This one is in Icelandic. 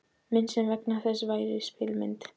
Mynd sem þess vegna gæti verið spegilmynd.